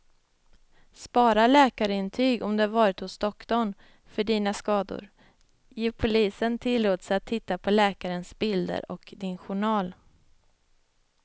Spara läkarintyg om du varit hos doktorn för dina skador, ge polisen tillåtelse att titta på läkarens bilder och din journal.